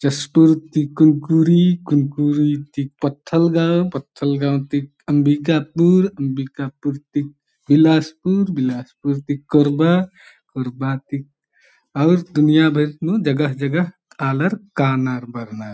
जशपुर ती कुनकुरी कुनकुरी ती Pathalgaon Pathalgaon ती अम्बिकापुर अम्बिकापुर ती बिलासपुर बिलासपुर ती कोरबा कोरबा ती अउर दुनिया भर नू जगह-जगह आलर कानर बर्नर ।